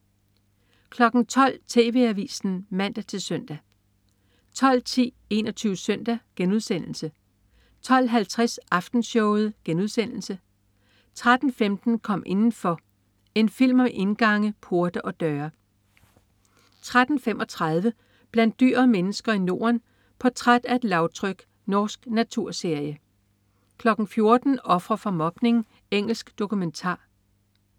12.00 TV Avisen (man-søn) 12.10 21 Søndag* 12.50 Aftenshowet* 13.15 Kom indenfor. En film om indgange, porte og døre 13.35 Blandt dyr og mennesker i Norden. Portræt af et lavtryk. Norsk naturserie 14.00 Ofre for mobning. Engelsk dokumentar